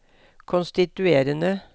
konstituerende